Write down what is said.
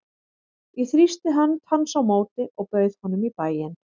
Ég þrýsti hönd hans á móti og bauð honum í bæinn.